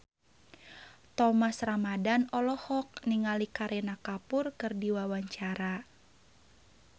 Thomas Ramdhan olohok ningali Kareena Kapoor keur diwawancara